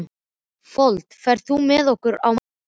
Fold, ferð þú með okkur á mánudaginn?